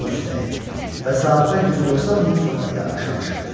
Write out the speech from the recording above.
Yan üstə əyildi və saatda 190 mil sürətlə aşağı şığıdı.